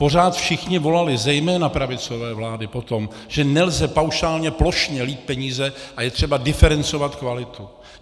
Pořád všichni volali, zejména pravicové vlády, po tom, že nelze paušálně, plošně lít peníze a je třeba diferencovat kvalitu.